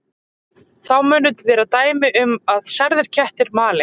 Þá munu vera dæmi um að særðir kettir mali.